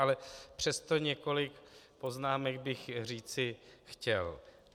Ale přesto několik poznámek bych říci chtěl.